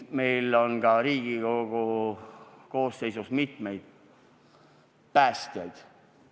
Meil on ka Riigikogu koosseisus mitmeid päästjaid.